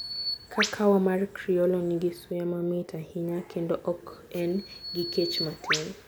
Kakawa mar Criollo nigi suya mamit ahinya, kendo ok en gi kech matin.